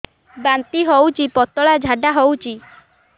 ବାନ୍ତି ହଉଚି ପତଳା ଝାଡା ହଉଚି